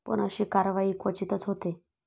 पण अशी कारवाई क्वचितच होते.